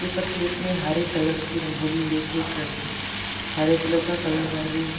ऊपर प्लेट मे हरे कलर की रंगोली लेके एक लड़की हरे कलर का कलर भर रही है।